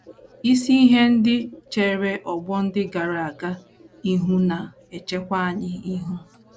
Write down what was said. Isi ihe ndị chere ọgbọ ndị gara aga ihu na - echekwa anyị ihu.